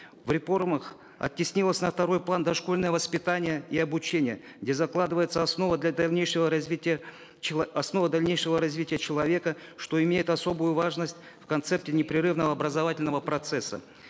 в реформах оттеснилось на второй план дошкольное воспитание и обучение где закладывается основа для дальнейшего развития основа дальнейшего развития человека что имеет особую важность в концепте непрерывного образовательного процесса